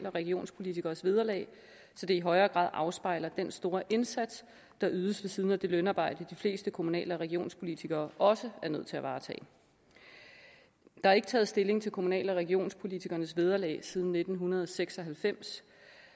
og regionspolitikeres vederlag så det i højere grad afspejler den store indsats der ydes ved siden af det lønarbejde de fleste kommunal og regionspolitikere også er nødt til at varetage der er ikke taget stilling til kommunal og regionspolitikernes vederlag siden nitten seks og halvfems